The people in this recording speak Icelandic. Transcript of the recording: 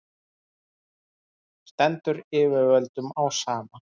stendur yfirvöldum á sama